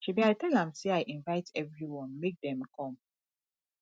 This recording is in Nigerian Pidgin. shebi i tell am say i invite everyone make dem come